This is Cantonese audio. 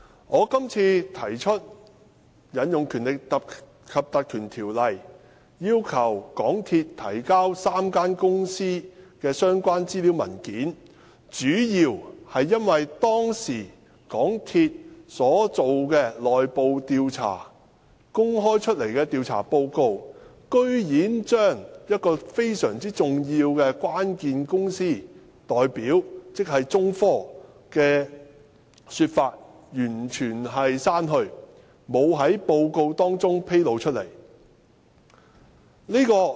我今次提出引用《條例》，要求港鐵公司提交3間公司的相關資料和文件，主要是因為港鐵公司當時所進行的內部調查和公開的調查報告，居然將一個非常關鍵的公司代表——中科——的說法完全刪去，沒有在報告中披露。